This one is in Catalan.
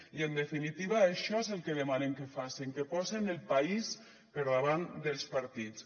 i en definitiva això és el que demanem que facen que posen el país per davant dels partits